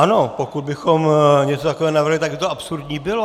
Ano, pokud bychom něco takového navrhli, tak by to absurdní bylo.